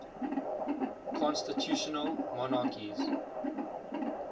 constitutional monarchies